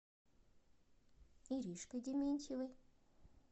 иришкой дементьевой